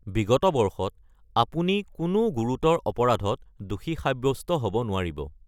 বিগত বৰ্ষত আপুনি কোনো গুৰুতৰ অপৰাধত দোষী সাব্যস্ত হ’ব নোৱাৰিব।